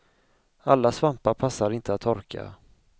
Alla svampar passar inte att torka.